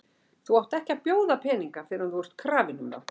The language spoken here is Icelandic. Þú átt ekki að bjóða peninga fyrr en þú ert krafinn um þá.